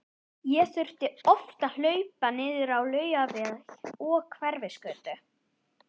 Ég þurfti oft að hlaupa niður á Laugaveg og Hverfisgötu.